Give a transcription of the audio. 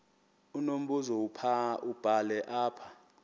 unombuzo wubhale apha